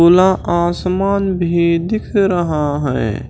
खुला आसमान भी दिख रहा है।